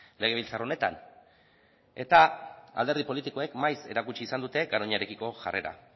legebiltzar honetan alderdi politikoek maiz erakutsi izan dute garoñarekiko jarrera